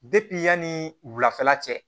yanni wulafɛla cɛ